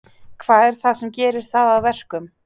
Hvað er það sem gerir það að verkum?